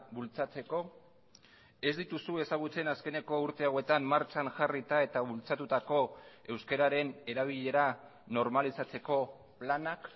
bultzatzeko ez dituzu ezagutzen azkeneko urte hauetan martxan jarrita eta bultzatutako euskararen erabilera normalizatzeko planak